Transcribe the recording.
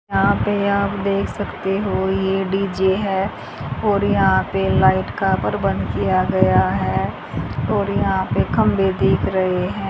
यहां पे आप देख सकते हो ये डी_जे है और यहां पे लाइट कापर बंद किया गया है और यहां पे खंभे दिख रहे हैं।